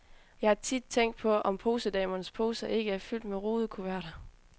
Jeg har tit tænkt på, om posedamernes poser ikke er fyldt med rudekuverter.